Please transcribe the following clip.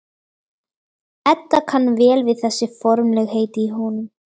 Edda kann vel við þessi formlegheit í honum.